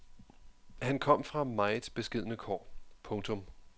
Han kom fra meget beskedne kår. punktum